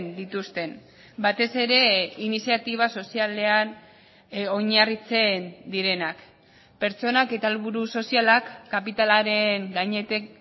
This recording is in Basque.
dituzten batez ere iniziatiba sozialean oinarritzen direnak pertsonak eta helburu sozialak kapitalaren gainetik